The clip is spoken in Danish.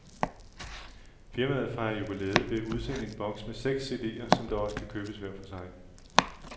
Firmaet fejrer jubilæet ved at udsende en box med seks cd'er, som dog også kan købes hver for sig.